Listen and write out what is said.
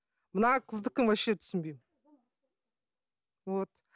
мына қыздікін вообще түсінбеймін вот